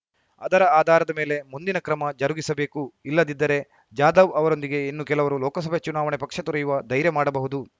ಅದರ ಆಧಾರದ ಮೇಲೆ ಮುಂದಿನ ಕ್ರಮ ಜರುಗಿಸಬೇಕು ಇಲ್ಲದಿದ್ದರೆ ಜಾಧವ್‌ ಅವರೊಂದಿಗೆ ಇನ್ನು ಕೆಲವರು ಲೋಕಸಭೆ ಚುನಾವಣೆ ಪಕ್ಷ ತೊರೆಯುವ ಧೈರ್ಯ ಮಾಡಬಹುದು